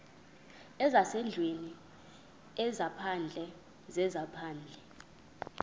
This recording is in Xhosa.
zezasendlwini ezaphandle zezaphandle